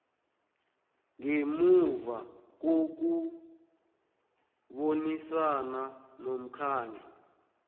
ngemuva kokubonisana nomkhandlu